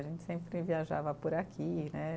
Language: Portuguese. A gente sempre viajava por aqui, né?